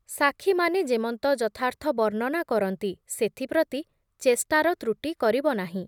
ସାକ୍ଷୀମାନେ ଯେମନ୍ତ ଯଥାର୍ଥ ବର୍ଣ୍ଣନା କରନ୍ତି ସେଥି ପ୍ରତି ଚେଷ୍ଟାର ତ୍ରୁଟି କରିବ ନାହିଁ ।